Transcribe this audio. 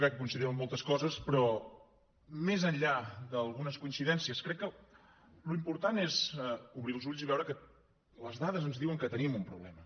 crec que coincidim en moltes coses però més enllà d’algunes coincidències crec que l’important és obrir els ulls i veure que les dades ens diuen que tenim un problema